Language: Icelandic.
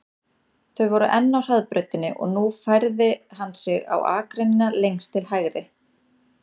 Þau voru enn á hraðbrautinni og nú færði hann sig á akreinina lengst til hægri.